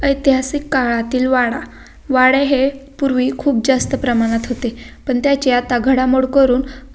ऐतिहासिक काळातील वाडा वाडे हे पूर्वी खूप जास्त प्रमाणात होते पण त्याचे आता घडामोड करून--